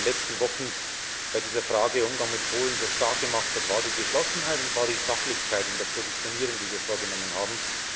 Was uns in den letzten Wochen bei dieser Frage des Umgangs mit Polen so stark gemacht hat, war die Geschlossenheit und Sachlichkeit in der Positionierung, die wir vorgenommen haben.